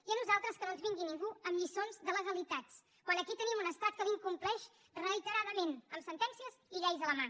i a nosaltres que no ens vingui ningú amb lliçons de legalitats quan aquí tenim un estat que la incompleix reiteradament amb sentències i lleis a la mà